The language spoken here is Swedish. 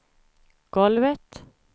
golvet